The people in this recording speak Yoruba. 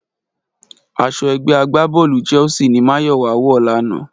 Aṣọ ẹgbẹ́ agbábọ́ọ̀lù Chelsea ni Máyọ̀wá wọ̀ lánàá